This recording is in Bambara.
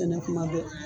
Kɛnɛ kuma bɛɛ